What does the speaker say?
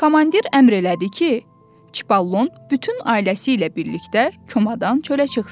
Komandir əmr elədi ki, Çipollon bütün ailəsi ilə birlikdə komadan çölə çıxsın.